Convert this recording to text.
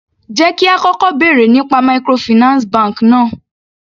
Jẹ́ kí á kọ́kọ́ bèrè nípa microfinance bank náà.